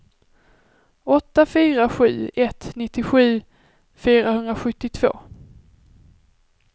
åtta fyra sju ett nittiosju fyrahundrasjuttiotvå